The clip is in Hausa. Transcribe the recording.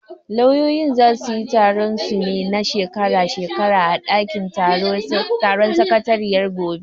Lauyoyin zasu yi taron su na shekara shekara a ɗakin taron sakatariyar gobe.